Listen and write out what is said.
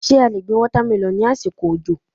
Ṣé a lè gbin wọ́támẹlọ́ ní àsìkò òjò?